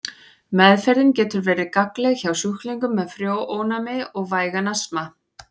Meðferðin getur verið gagnleg hjá sjúklingum með frjónæmi og vægan astma.